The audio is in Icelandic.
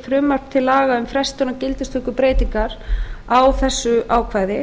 frumvarp til laga um frestun á gildistöku breytingar á þessu ákvæði